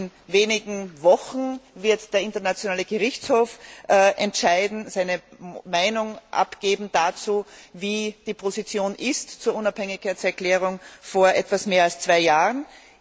In wenigen Wochen wird der Internationale Gerichtshof entscheiden und seine Meinung dazu abgeben, wie die Position zur Unabhängigkeitserklärung von vor etwas mehr als zwei Jahren ist.